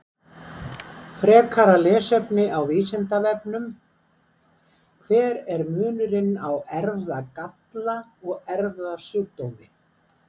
Frekara lesefni á Vísindavefnum: Hver er munurinn á erfðagalla og erfðasjúkdómi?